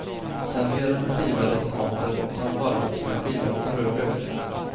Servera med skivade tomater som varvats med skivad röd lök.